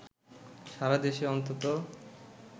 সারা দেশে অন্তত